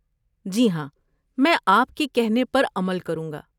جی ہاں، میں آپ کے کہنے پر عمل کروں گا۔